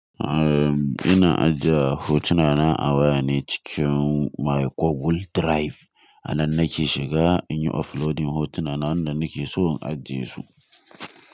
Erm ina ajiye hotuna na a waya ne cikin my Google drive. A nan nake shiga in yi uploading hotuna na wanda nake so in ajiye su.